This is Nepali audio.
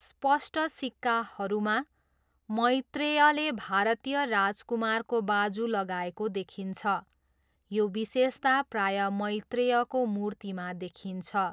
स्पष्ट सिक्काहरूमा, मैत्रेयले भारतीय राजकुमारको बाजु लगाएको देखिन्छ, यो विशेषता प्रायः मैत्रेयको मूर्तिमा देखिन्छ।